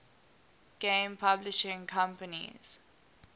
game publishing companies